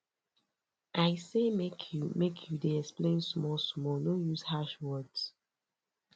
i say make you make you dey explain smallsmall no use harsh words